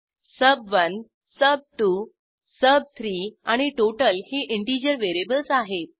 सुब1 सुब2 सुब3 आणि टोटल ही इंटिजर व्हेरिएबल्स आहेत